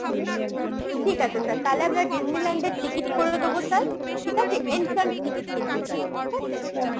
ঠিক আছে sir তাহলে আপনার Disneyland ticket করে দেবো sir ঠিক আছে entrance ticket কিন্তু sir ঠিক আছে?